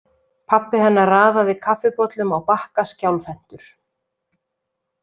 Pabbi hennar raðaði kaffibollum á bakka skjálfhentur.